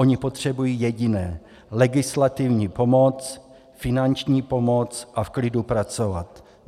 Oni potřebují jediné - legislativní pomoc, finanční pomoc a v klidu pracovat.